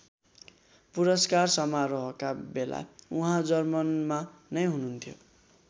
पुरस्कार समारोहका बेला उहाँ जर्मनमा नै हुनुहुन्थ्यो।